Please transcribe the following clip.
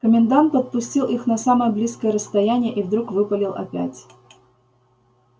комендант подпустил их на самое близкое расстояние и вдруг выпалил опять